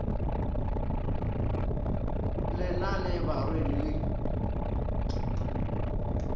le na le barwedi le